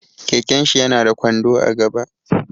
Keken shi ya na da kwando a gaba